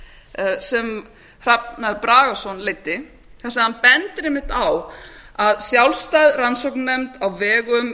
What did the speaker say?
sem hrafn bragason leiddi þar sem hann bendir einmitt á að sjálfstæð rannsóknarnefnd á vegum